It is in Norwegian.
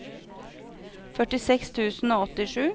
førtiseks tusen og åttisju